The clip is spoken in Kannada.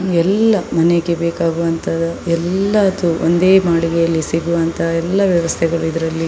ಎಲ್ಲ ಮನೆಗೆ ಬೇಕಾಗುವಂತ ಎಲ್ಲದು ಒಂದೇ ಮಾಳಿಗೆಯಲ್ಲಿ ಸಿಗುವಂತ ಎಲ್ಲ ವ್ಯವಸ್ಥೆಗಳು ಇದರಲ್ಲಿ --